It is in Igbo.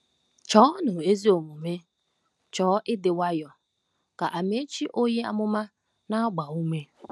“Chọọnụ ezi omume, chọọ ịdị nwayọọ,” ka Amaechi onye amụma na-agba ume.